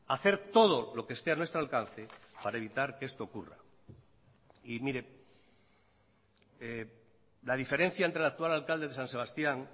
hacer todo lo que esté a nuestro alcance para evitar que esto ocurra y mire la diferencia entre el actual alcalde de san sebastián